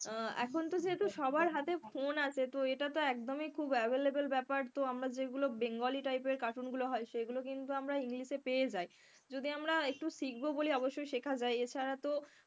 এখনতো যেহেতু সবার হাতে phone আছে তো এটা তো একদমই খুব available ব্যাপার তো আমরা যেগুলো bengali type এর cartoon গুলো হয় সেগুলো কিন্তু আমরা english পেয়ে যাই, যদি আমরা একটু শিখবো বলি অবশ্যই শেখা যায়। এছাড়া তো,